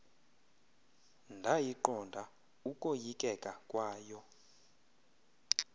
ndayiqonda ukoyikeka kwayo